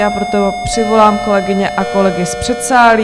Já proto přivolám kolegyně a kolegy z předsálí.